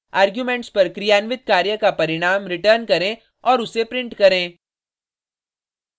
arguments पर क्रियान्वित कार्य का परिणाम रिटर्न करें और उसे प्रिंट करें